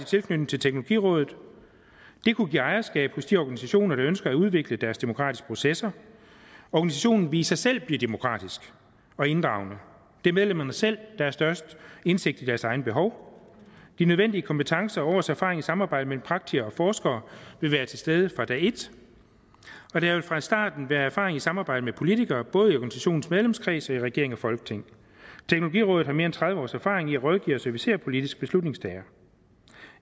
tilknytning til teknologirådet det kunne give ejerskab hos de organisationer der ønsker at udvikle deres demokratiske processer organisationen ville i sig selv blive demokratisk og inddragende det er medlemmerne selv der har størst indsigt i deres egne behov de nødvendige kompetencer og års erfaring i samarbejde mellem praktikere og forskere vil være til stede fra dag et og der vil fra starten være erfaring i samarbejde med politikere både i organisationens medlemskreds og i regering og folketing teknologirådet har mere end tredive års erfaring i at rådgive og servicere politiske beslutningstagere